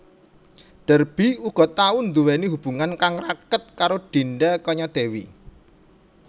Derby uga tau nduweni hubungan kang raket karo Dinda Kanyadewi